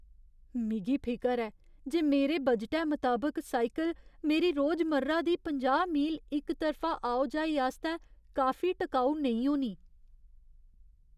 मिगी फिकर ऐ जे मेरे बजटै मताबक साइकल मेरी रोजमर्रा दी पंजाह् मील इक तरफा आओ जाई आस्तै काफी टकाऊ नेईं होनी।